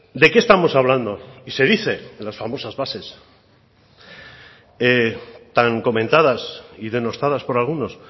de qué estamos hablando y se dice en las famosas bases tan comentadas y denostadas por algunos